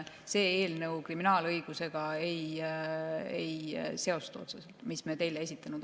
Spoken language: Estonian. See eelnõu, mis me teile esitanud oleme, kriminaalõigusega otseselt ei seostu.